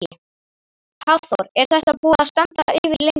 Hafþór: Er þetta búið að standa yfir lengi?